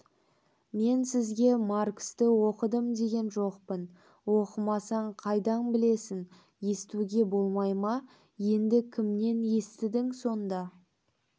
мен сізге марксті оқыдым деген жоқпын оқымасаң қайдан білесің естуге болмай ма енді кімнен естідің сонда